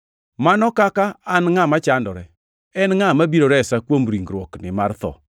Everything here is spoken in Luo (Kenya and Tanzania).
Mano kaka an ngʼama chandore! En ngʼa mabiro resa kuom ringruokni mar tho?